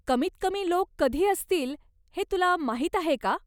कमीत कमी लोक कधी असतील हे तुला माहीत आहे का?